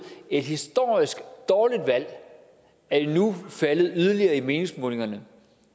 et historisk dårligt valg nu er faldet yderligere i meningsmålingerne